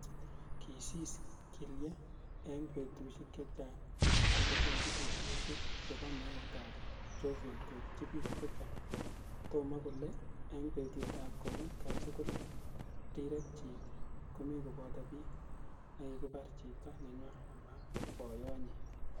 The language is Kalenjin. Kisis Killie eng petushek chechang kingopendi vidioshek chebo meet ap Chauvin koitchi pik chechang, kotom kole ing petut ap komut kasi kole rirek chik komi kopoto pik ne kikipar chito nenywa, ama poiyot nyi.